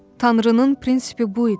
Tanrının prinsipi bu idi.